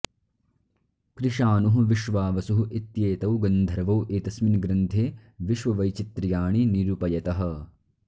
कृशानुः विश्वावसुः इत्येतौ गन्धर्वौ एतस्मिन् ग्रन्थे विश्ववैचित्र्याणि निरुपयतः